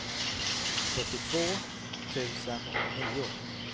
sjuttiotvå tusen nio